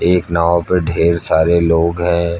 एक नाव पे ढेर सारे लोग हैं।